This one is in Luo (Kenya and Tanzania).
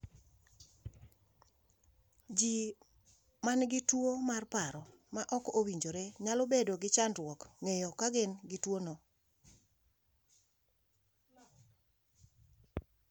ji manigi tuwo mar paro ma ok owinjore nyalo bedo gi chandruok ng'eyo ka gin gi tuwo no